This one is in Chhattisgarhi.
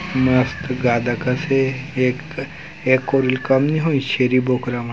मस्त गादा कस हे एक एक कोरी ले कम नई होही छेरी बोकरा मन ह।